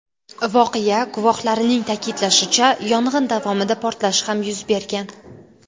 Voqea guvohlarining ta’kidlashicha, yong‘in davomida portlash ham yuz bergan.